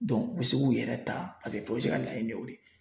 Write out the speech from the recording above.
u bɛ se k'u yɛrɛ ta paseke ka laɲini ye o de ye.